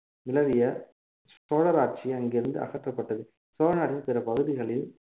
நிலவிய சோழர் ஆட்சி அங்கிருந்து அகற்றப்பட்டது சோழநாட்டின் பிற பகுதிகளில்